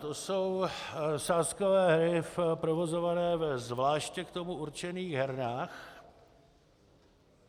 To jsou sázkové hry provozované ve zvláště k tomu určených hernách.